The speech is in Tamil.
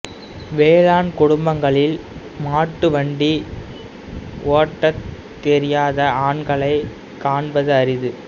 வேளாண் குடும்பங்களில் மாட்டு வண்டி ஓட்டத் தெரியாத ஆண்களை காண்பது அரிது